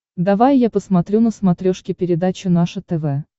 давай я посмотрю на смотрешке передачу наше тв